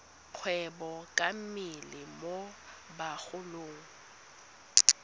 kgwebo ka mmele mo bagolong